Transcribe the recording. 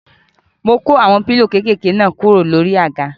Mo kó àwọn pílò kéékèké náà kúrò lórí àga.